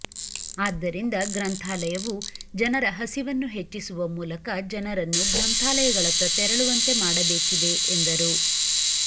ಆದ್ದರಿಂದ ಗ್ರಂಥಾಲಯವು ಜನರ ಹಸಿವನ್ನು ಹೆಚ್ಚಿಸುವ ಮೂಲಕ ಜನರನ್ನು ಗ್ರಂಥಾ ಲಯಗಳತ್ತ ತೆರಳುವಂತೆ ಮಾಡಬೇಕಿದೆ ಎಂದರು